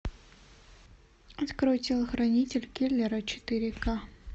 открой телохранитель киллера четыре ка